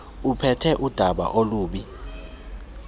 uphethe udaba olubi